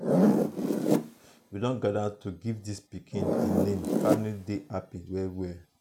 we don gather to give di pikin di name family dey happy well well.